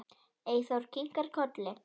Eyþór kinkar kolli.